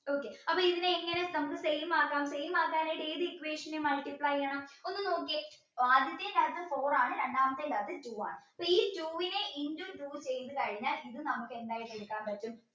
okay അപ്പൊ ഇതിനെ എങ്ങനെ same ആക്കം same ആക്കാനായിട്ട് ഏത് equation multiply ചെയ്യണം ഒന്ന് നോക്കിയേ ആദ്യത്തിന്റെ അകത്തു four ആണ് രണ്ടാമത്തിന്റെ അകത്തു two ആണ് അപ്പൊ ഈ two വിനെ into two ചെയ്ത് കഴിഞ്ഞാൽ ഇത് നമുക്ക് എന്തായിട്ട് എടുക്കാൻ പറ്റും